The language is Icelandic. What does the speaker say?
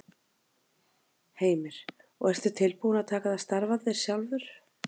Heimir: Og ertu tilbúinn að taka það starf að þér sjálfur?